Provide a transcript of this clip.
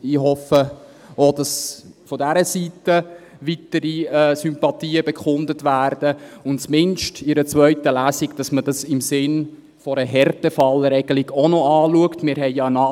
Ich hoffe auch, dass von dieser Seite weitere Sympathien bekundet werden und man dies zumindest in der zweiten Lesung im Sinne einer Härtefallregelung noch in Betracht zieht.